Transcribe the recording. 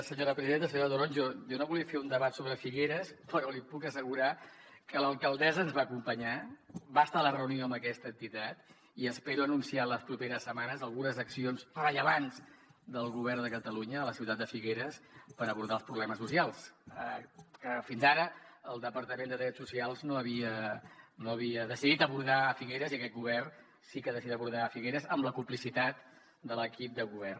senyora toronjo jo no volia fer un debat sobre figueres però li puc assegurar que l’alcaldessa ens va acompanyar va estar a la reunió amb aquesta entitat i espero anunciar en les properes setmanes algunes accions rellevants del govern de catalunya a la ciutat de figueres per abordar els problemes socials que fins ara el departament de drets socials no havia decidit abordar los a figueres i aquest govern sí que ha decidit abordar los a figueres amb la complicitat de l’equip de govern